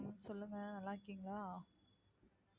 சொல்லுங்க நல்லா இருக்கீங்களா